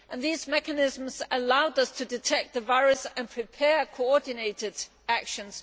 These mechanisms allowed us to detect the virus and prepare coordinated actions.